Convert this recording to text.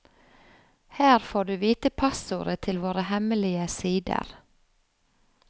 Her får du vite passordet til våre hemmelige sider.